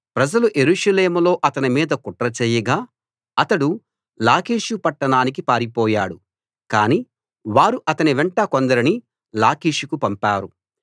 ప్రజలు యెరూషలేములో అతని మీద కుట్ర చేయగా అతడు లాకీషు పట్టణానికి పారిపోయాడు కాని వారు అతనివెంట కొందరిని లాకీషుకు పంపారు